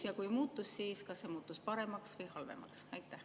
Ja kui muutus, siis kas see muutus paremaks või halvemaks?